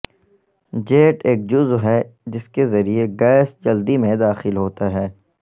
jet ایک جزو ہے جس کے ذریعے گیس جلدی میں داخل ہوتا ہے